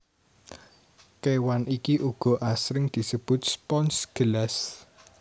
Kewan iki uga asring disebut spons gelas